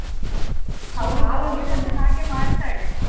ಹಾ ಅವಳು ಮತ್ತೆ ಹಾಗೆ ಮಾಡ್ತಾಳೆ.